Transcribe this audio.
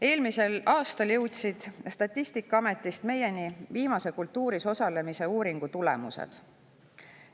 Eelmisel aastal jõudsid Statistikaametist meieni viimase kultuuris osalemise uuringu tulemused.